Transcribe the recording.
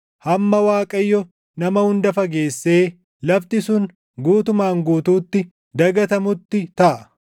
hamma Waaqayyo nama hunda fageessee lafti sun guutumaan guutuutti dagatamutti taʼa.